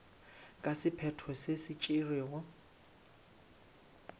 ka sephetho se se tšerwego